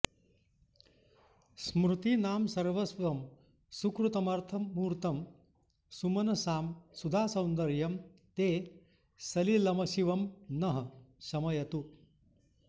स्मृतीनां सर्वस्वं सुकृतमथमूर्तं सुमनसाम् सुधासौन्दर्यं ते सलिलमशिवं नः शमयतु